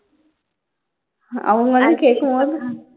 அவங்க வந்து கேக்கும்போது